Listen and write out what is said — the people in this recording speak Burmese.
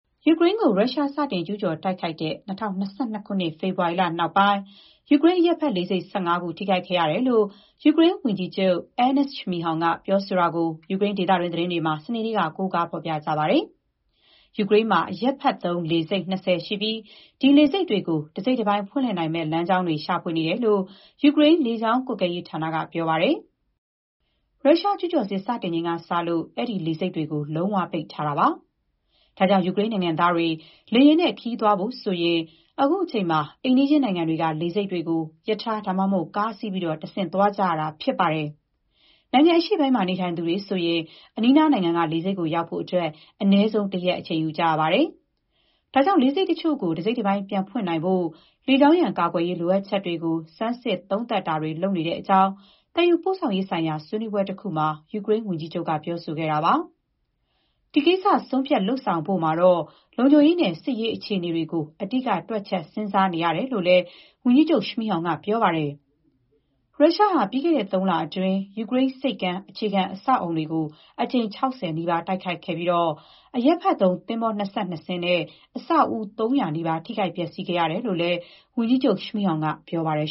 ယူကရိန်းကို ရုရှား စတင်ကျူးကျော် တိုက်ခိုက်တဲ့ ၂၀၂၂ ခုနှစ် ဖေဖော်ဝါရီလ နောက်ပိုင်း ယူကရိန်း အရပ်ဘက်လေဆိပ် ၁၅ ခု ထိခိုက်ခဲ့ရတယ်လို့ ယူကရိန်း ဝန်ကြီးချုပ် အဲနက်စ် ရှမီးဟောင် Denys Shmyhal ပြောဆိုတာကို ယူကရိန်း ဒေသတွင်း သတင်းတွေမှာ စနေနေ့က ကိုးကား ဖော်ပြကြပါတယ်။ ယူကရိန်းမှာ အရပ်ဘက်သုံး လေဆိပ် ၂၀ ရှိပြီး ဒီလေဆိပ်တွေကို တစိတ်တပိုင်း ဖွင့်လှစ်နိုင်မယ့် လမ်းကြောင်းတွေ ရှာဖွေနေတယ်လို့ ယူကရိန်း လေကြောင်း ကွပ်ကဲရေးဌာနက ပြောပါတယ်။ ရုရှား ကျူးကျော်စစ် စတင်ချိန်ကစလို့ အဲ့ဒီလေဆိပ်တွေကို လုံးဝ ပိတ်ထားတာပါ။ ဒါကြောင့် ယူကရိန်းနိုင်ငံသားတွေ လေယာဥ်နဲ့ ခရီးသွားဖို့ဆိုရင် အခုချိန်မှာ အိမ်နီးချင်းနိုင်ငံတွေက လေဆိပ်တွေကို ရထား ဒါမှမဟုတ် ကားစီးပြီး တဆင့် သွားနေကြရတာ ဖြစ်ပါတယ်။ နိုင်ငံ အရှေ့ပိုင်းမှာ နေသူတွေဆိုရင် အနီးနား နိုင်ငံက လေဆိပ်ကိုရောက်ဖို့ အနည်းဆုံး တရက် အချိန်ယူကြရပါတယ်။ ဒါကြောင့် လေဆိပ်တချို့ကို တစိတ်တပိုင်း ပြန်ဖွင့်နိုင်ဖို့အတွက် လေကြောင်းရန် ကာကွယ်ရေး လိုအပ်ချက်တွေကို ဆန်းစစ် သုံးသပ်တာတွေ လုပ်နေတဲ့အကြောင်း သယ်ယူပို့ဆောင်ရေး ဆိုင်ရာ ဆွေးနွေးပွဲတခုမှာ ယူကရိန်း ဝန်ကြီးချုပ် ပြောဆိုခဲ့တာပါ။ ဒီကိစ္စ ဆုံးဖြတ် လုပ်ဆောင်ဖို့မှာတော့ လုံခြုံရေးနဲ့ စစ်ရေး အခြေအနေတွေကို အဓိက တွက်ချက် စဥ်းစားနေရတယ်လို့လည်း ဝန်ကြီးချုပ် ရှမီးဟောင် က ပြောပါတယ်။ ရုရှားဟာ ပြီးခဲ့တဲ့ သုံးလအတွင်း ယူကရိန်း ဆိပ်ကမ်း အခြေခံ အဆောက်အအုံတွေကို အကြိမ် ၆၀ နီးပါး တိုက်ခိုက်ခဲ့ပြီး အရပ်ဘက်သုံး သင်္ဘော ၂၂ စင်းနဲ့ အဆောက်အဦ ၃၀၀ နီးပါး ထိခိုက် ပျက်ဆီးခဲ့ရတယ်လို့လည်း ဝန်ကြီးချုပ် ရှမီးဟောင် က ပြောပါတယ်